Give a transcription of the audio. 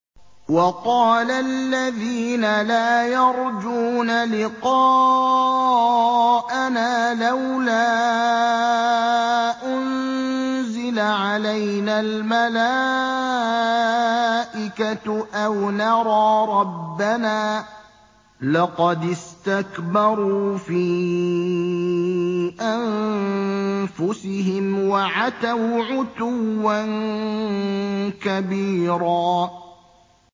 ۞ وَقَالَ الَّذِينَ لَا يَرْجُونَ لِقَاءَنَا لَوْلَا أُنزِلَ عَلَيْنَا الْمَلَائِكَةُ أَوْ نَرَىٰ رَبَّنَا ۗ لَقَدِ اسْتَكْبَرُوا فِي أَنفُسِهِمْ وَعَتَوْا عُتُوًّا كَبِيرًا